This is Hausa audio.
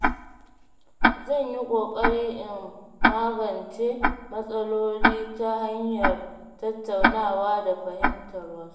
Zan yi ƙoƙari in magance matsaloli ta hanyar tattaunawa da fahimtar wasu.